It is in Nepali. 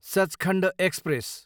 सचखण्ड एक्सप्रेस